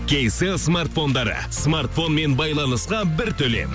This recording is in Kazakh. кейселл смартфондары смартфонмен байланысқа бір төлем